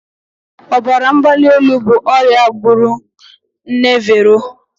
Ọbara mgbali elu bụ ọrịa gburu nne Vero.